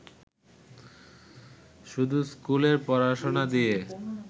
শুধু স্কুলের পড়াশোনা দিয়ে